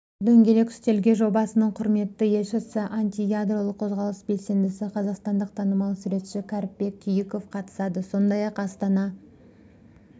дөңгелек үстелге жобасының құрметті елшісі антиядролық қозғалыс белсендісі қазақстандық танымал суретші кәріпбек күйіков қатысады сондай-ақ астана